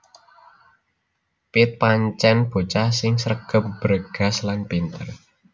Piet pancèn bocah sing sregep bregas lan pinter